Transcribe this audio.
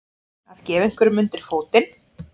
Að gefa einhverjum undir fótinn